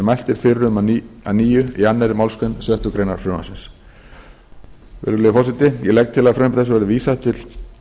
mælt er fyrir um að nýju í annarri málsgrein sjöttu greinar frumvarpsins virðulegi forseti ég legg til að frumvarpi þessu verði vísað til